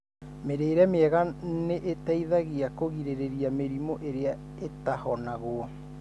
Mũrĩre mwega nĩ ũteithagia kũgirĩrĩria mĩrimũ ĩria ĩtahonagwo.